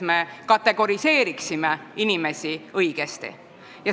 Me peaksime neid inimesi õigesti kategoriseerima.